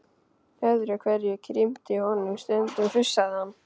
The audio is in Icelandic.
Öðru hverju krimti í honum, stundum fussaði hann.